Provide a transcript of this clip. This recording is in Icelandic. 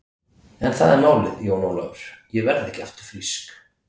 En það er málið Jón Ólafur, ég verð ekki aftur frísk.